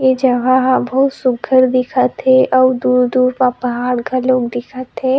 ये जहा हा बहुत सुंदर दिखत हे अऊ दूर-दूर तक पहाड़ घलोक दिखत हे।